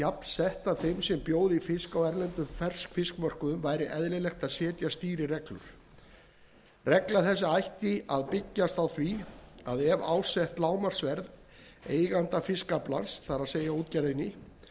þeim sem bjóða í fisk á erlendum ferskfiskmörkuðum væri eðlilegt að setja stýrireglu regla þessi ætti að byggjast á því að ef ásett lágmarksverð eiganda fiskaflans það er útgerðar